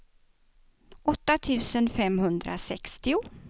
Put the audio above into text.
åtta tusen femhundrasextio